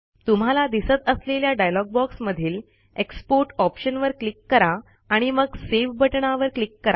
तुम्हाला दिसत असलेल्या डायलॉग बॉक्समधील एक्सपोर्ट ऑप्शनवर क्लिक करा आणि मग सेव्ह बटणावर क्लिक करा